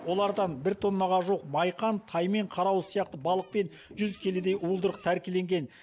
олардан бір тоннаға жуық майқан таймен қарауыз сияқты балық пен жүз келідей уылдырық тәркіленген